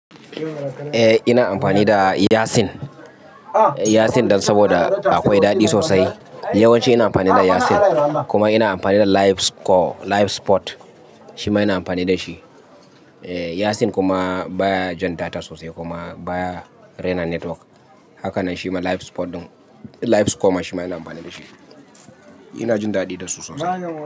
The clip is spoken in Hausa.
Eh ina amfani da Yasen, Yasen dan saboda akwai daɗi sosai. Yawanci ina amfani da Yasen. Kuma ina amfani da Livescore, Livesport shima ina amfani da shi. Eh Yasen kuma baya jan data sosai kuma baya rena network. Haka nan shi ma Livesport din, Livescore kuma shima ina amfani da shi. Ina jin daɗi da su sosai.